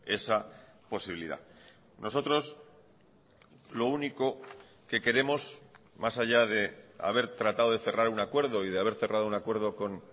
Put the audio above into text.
esa posibilidad nosotros lo único que queremos más allá de haber tratado de cerrar un acuerdo y de haber cerrado un acuerdo con